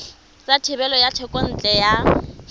sa thebolo ya thekontle ya